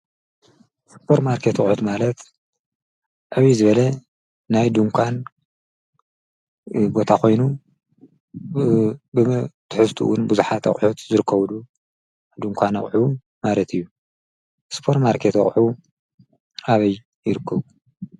ስፖር ማርከት ቕሑት ማለት ዕብይ ዝበለ ናይ ድንኳን ቦታ ኾይኑ ብትሕስትውን ብዙኃት ኣቝሑት ዘርከብዱ ድንኳን ኣቝዑ ማለት እዩ። ስጶር ማርከት ኣቕሑ ኣበይ ይር?